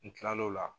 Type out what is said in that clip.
N kila lo la